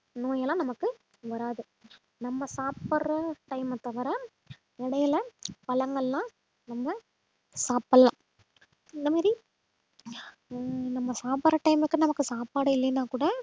நோயெல்லாம் நமக்கு வராது நம்ம சாப்பிடுற time அ தவிர இடையில பழங்கள்லாம் நம்ம சாப்பிடலாம் இந்த மாதிரி ஆஹ் நம்ம சாப்பிடுற time க்கு நமக்கு சாப்பாடு இல்லைன்னா கூட